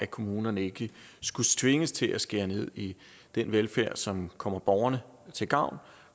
kommunerne ikke skulle tvinges til at skære ned i den velfærd som kommer borgerne til gavn